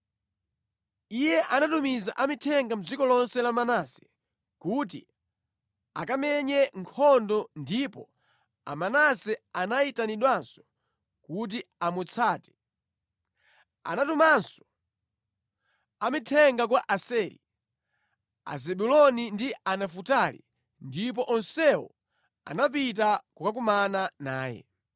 Iye anatumiza amithenga mʼdziko lonse la Manase kuti akamenye nkhondo ndipo Amanase anayitanidwanso kuti amutsate. Anatumanso amithenga kwa Aseri, Azebuloni ndi Anafutali, ndipo onsewo anapita kukakumana naye.